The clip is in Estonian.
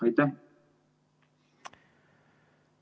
Aitäh!